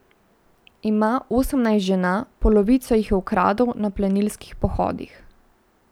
Ima osemnajst žena, polovico jih je ukradel na plenilskih pohodih.